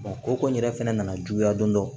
ko ko in yɛrɛ fɛnɛ nana juguya don dɔ